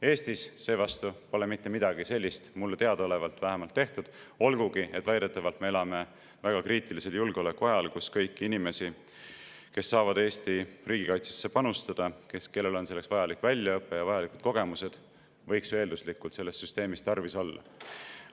Eestis seevastu pole mitte midagi sellist mulle teadaolevalt tehtud, olgugi et väidetavalt me elame julgeoleku mõttes väga kriitilisel ajal, kui kõiki inimesi, kes saavad Eesti riigikaitsesse panustada ja kellel on selleks vajalik väljaõpe ja vajalikud kogemused, võiks ju eelduslikult selles süsteemis tarvis olla.